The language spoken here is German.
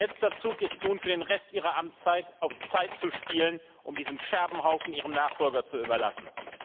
Ihr letzter Zug ist nun, für den Rest Ihrer Amtszeit auf Zeit zu spielen, um diesen Scherbenhaufen Ihrem Nachfolger zu überlassen.